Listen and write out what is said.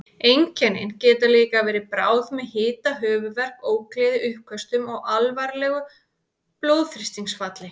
Einkennin geta líka verið bráð með hita, höfuðverk, ógleði, uppköstum og alvarlegu blóðþrýstingsfalli.